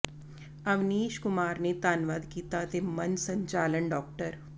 ਅਵਨੀਸ਼ ਕੁਮਾਰ ਨੇ ਧੰਨਵਾਦ ਕੀਤਾ ਅਤੇ ਮੰਚ ਸੰਚਾਲਨ ਡਾ